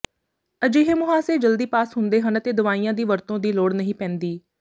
ਅਜਿਹੇ ਮੁਹਾਸੇ ਜਲਦੀ ਪਾਸ ਹੁੰਦੇ ਹਨ ਅਤੇ ਦਵਾਈਆਂ ਦੀ ਵਰਤੋਂ ਦੀ ਲੋੜ ਨਹੀਂ ਪੈਂਦੀ